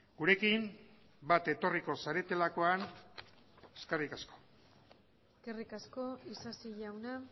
gurekin bat etorriko zaretelakoan eskerrik asko eskerrik asko isasi jauna